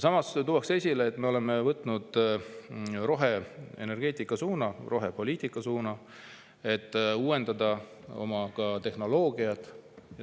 Samas tuuakse esile, et me oleme võtnud roheenergeetika, rohepoliitika suuna, et uuendada oma tehnoloogiat.